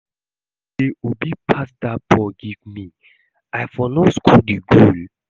If no be say Obi pass dat ball give me I for no score the goal